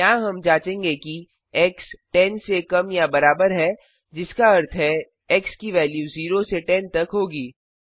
यहाँ हम जाँचेंगे कि एक्स 10 से कम या बराबर है जिसका अर्थ है एक्स की वेल्यू 0 से 10 तक होगी